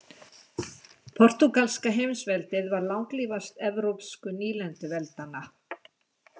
Portúgalska heimsveldið var langlífast evrópsku nýlenduveldanna.